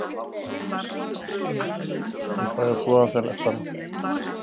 Ég fæ að þvo af þeim leppana.